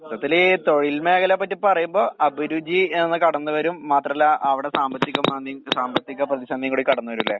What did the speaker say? മൊത്തത്തില് ഈ തൊഴിൽ മേഖലയെപ്പറ്റി പറയുമ്പോ അഭിരുചി എന്നത് കടന്ന് വരും. മാത്രല്ല അവടെ സാമ്പത്തികമാദ്യം സാമ്പത്തിക പ്രതിസന്ധിയും കൂടി കടന്ന് വരൂല്ലേ?